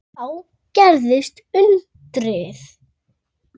Þá gerðist undrið.